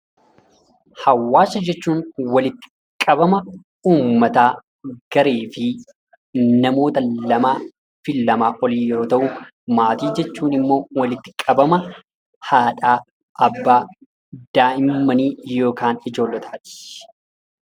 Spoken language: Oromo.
Hawaasa jechuun walitti qabama uummataa , gareefi namoota lamaafi lamaa ol yoo ta'u, maatii jichuun ammoo walitti qabama haadhaa, abbaa daa'immanii yookaan ijoollotaati.